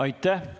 Aitäh!